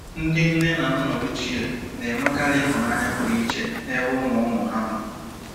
Ndị nne na nna ochie na-enwekarị ịhụnanya pụrụ iche n'ebe ụmụ-ụmụ ha nọ.